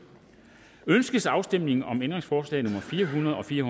ønskes afstemning om ændringsforslag nummer fire hundrede og fire